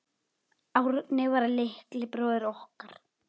Árni var litli bróðir okkar.